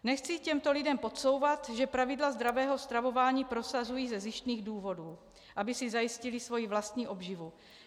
Nechci těmto lidem podsouvat, že pravidla zdravého stravování prosazují ze zištných důvodů, aby si zajistili svoji vlastní obživu.